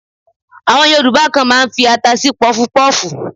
Àwọn Yorùbá kan máa ń fi ata sí pọfupọ́fù.